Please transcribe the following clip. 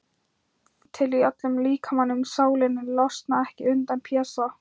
Finn til í öllum líkamanum, sálinni, losna ekki undan Pésa.